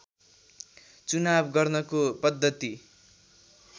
चुनाव गर्नको पद्धति